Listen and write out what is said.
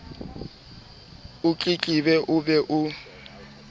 o tletlebe o be o